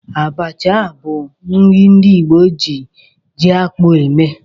Abacha bụ nri ndị Igbo ji ji-akpụ eme.